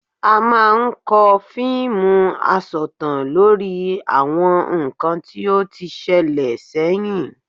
A máa ń kọ fíìmù asọ̀tàn lórí àwọn nǹkan tí ó ti ṣẹlẹ̀ sẹ́yìn